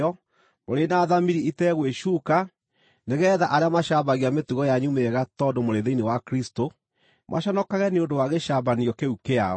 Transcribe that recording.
mũrĩ na thamiri ĩtegwĩcuuka, nĩgeetha arĩa macambagia mĩtugo yanyu mĩega tondũ mũrĩ thĩinĩ wa Kristũ, maconokage nĩ ũndũ wa gĩcambanio kĩu kĩao.